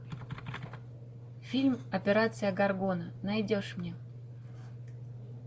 фильм операция горгона найдешь мне